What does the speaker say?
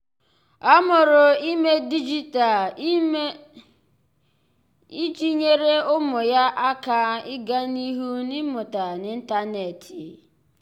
ọ́ mụrụ ímé dịjịta mụrụ ímé dịjịta iji nyèré ụ́mụ́ yá áká ị́gá n’ihu n’ị́mụ́ta n’ị́ntánétị̀.